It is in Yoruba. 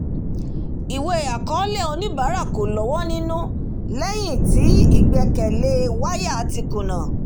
ìwé àkọọlẹ̀ oníbàárà kò lọ́wọ́ nínú lẹ́yìn tí ìgbèkẹ̀lé waya ti kúnà